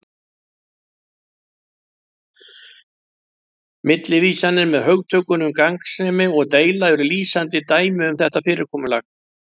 Millivísanir með hugtökunum gagnsemi og deila eru lýsandi dæmi um þetta fyrirkomulag